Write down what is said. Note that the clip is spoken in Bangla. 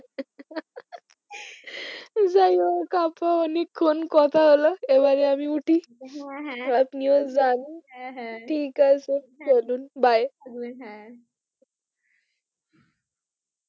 যাই হোক আপা অনেকক্ষণ কথা হলো এবারে আমি উঠি হ্যাঁ হ্যাঁ আপনিও যান হ্যাঁ হ্যাঁ ঠিক আছে চলুন বাই হ্যাঁ হ্যাঁ।